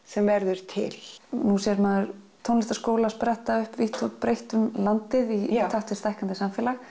sem verður til nú sér maður tónlistarskóla spretta upp vítt og breitt um landið í takt við stækkandi samfélag